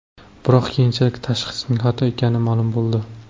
Biroq keyinchalik tashxisning xato ekani ma’lum bo‘ldi.